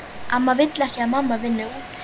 Amma vill ekki að mamma vinni úti.